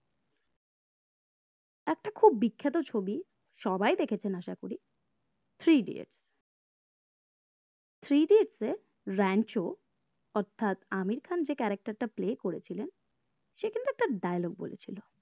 খুব বিখ্যাত ছবি সবাই দেখেছেন আসা করি three idiot three idiots এ র‍্যাঞ্চো অর্থাৎ আমির খান যে character টা play করেছিলেন সেখানে একটা dialogue বলেছিলো